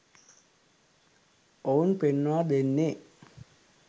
ඔවුන් පෙන්වා දෙන්නේ